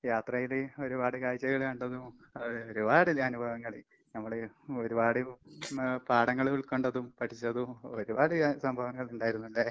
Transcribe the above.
യാത്ര ചെയ്ത് ഒരുപാട് കാഴ്ചകള് കണ്ടതും അതുപോലെ ഒരുപാട് അനുഭവങ്ങള് ഞമ്മള് ഒരുപാട് മ് പാടങ്ങള് കണ്ടതും പഠിച്ചതും ഒരുപാട് അഹ് സംഭവങ്ങളിണ്ടാരുന്നല്ലേ.